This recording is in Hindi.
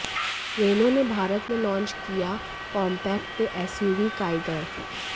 रेनो ने भारत में लॉन्च किया कॉम्पैक्ट एसयूवी काइगर